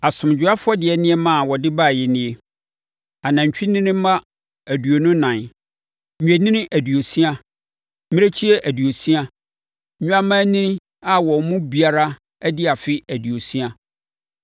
Asomdwoeɛ afɔdeɛ nneɛma a wɔde baeɛ nie: anantwinini mma aduonu ɛnan, nnwennini aduosia, mmirekyie aduosia, nnwammaanini a wɔn mu biara adi afe aduosia.